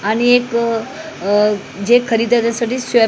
आणि एक जे खरीदासाठी स्वॅप --